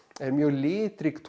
er mjög litrík